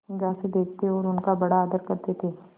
निगाह से देखते और उनका बड़ा आदर करते थे